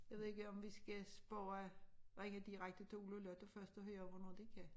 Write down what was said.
Jeg ved ikke om vi skal spørge ringe direkte til Ole og Lotte først og høre hvornår de kan